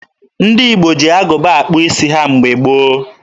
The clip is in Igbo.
Ndị Igbo ji agụba akpụ isi ha mgbe gboo.